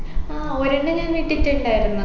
ആ ഒരെണ്ണം ഞാൻ ഇട്ടിട്ടുണ്ടായിരുന്നു